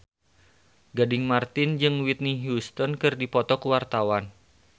Gading Marten jeung Whitney Houston keur dipoto ku wartawan